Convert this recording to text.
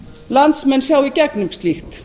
landsmenn sjá í gegnum slíkt